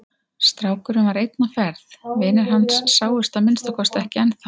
Strákurinn var einn á ferð, vinir hans sáust að minnsta kosti ekki ennþá.